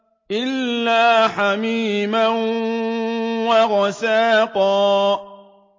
إِلَّا حَمِيمًا وَغَسَّاقًا